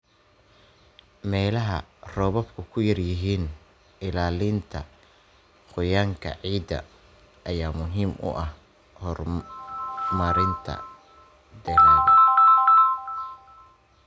Meelaha roobabku ku yar yihiin, ilaalinta qoyaanka ciidda ayaa muhiim u ah horumarinta dalagga.